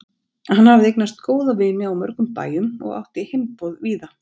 Hann hafði eignast góða vini á mörgum bæjum og átti heimboð víða.